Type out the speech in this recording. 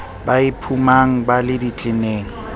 ba iphumang ba le ditleneng